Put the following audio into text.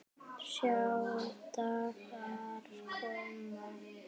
Sjá dagar koma